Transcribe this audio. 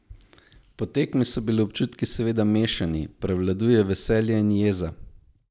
Po tekmi so bili občutki seveda mešani: "Prevladuje veselje in jeza.